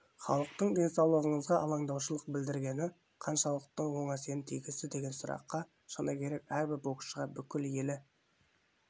халықтың денсаулығыңызға алаңдаушылық білдіргені қаншалықты оң әсерін тигізді деген сұраққа шыны керек әрбір боксшыға бүкіл елі